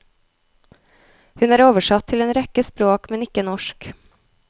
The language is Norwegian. Hun er oversatt til en rekke språk, men ikke norsk.